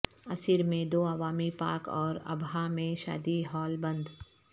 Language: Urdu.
عسیر میں دو عوامی پارک اور ابہا میں شادی ہال بند